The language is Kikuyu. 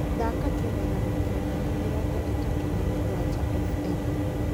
thaaka tu magana kenda na mĩrongo ĩtatũ na mũgwanja f.m.